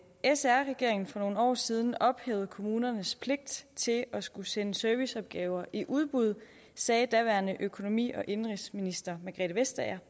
sr regeringen for nogle år siden ophævede kommunernes pligt til at skulle sende serviceopgaver i udbud sagde daværende økonomi og indenrigsminister margrethe vestager